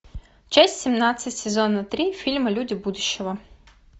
часть семнадцать сезона три фильма люди будущего